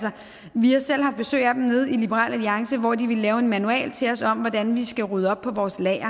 vi har selv haft besøg af dem nede i liberal alliance hvor de ville lave en manual til os om hvordan vi skal rydde op på vores lager